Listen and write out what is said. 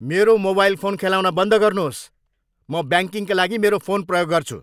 मेरो mobile phone खेलाउन बन्द गर्नुहोस्। म ब्याङ्किङका लागि मेरो फोन प्रयोग गर्छु।